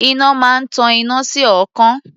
Iná máa ń tan iná sí ọ̀ọ́kán.